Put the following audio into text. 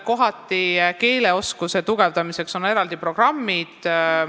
Kohati on keeleoskuse tugevdamiseks eraldi programmid.